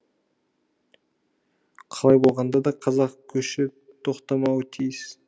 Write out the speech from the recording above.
қалай болғанда да қазақ көші тоқтамауы тиіс